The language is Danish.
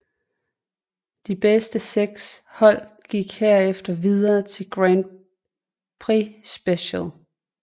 De bedste seks hold gik herefter videre til Grand Prix Special